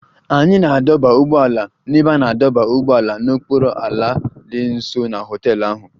Anyị na-adọba ụgbọala n'ebe a na-adọba ụgbọala n'okpuru ala dị nso na họtel ahụ